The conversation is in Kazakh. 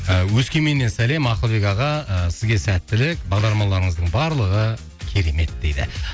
ы өскеменнен сәлем ақылбек аға ы сізге сәттілік бағдарламаларыңыздың барлығы керемет дейді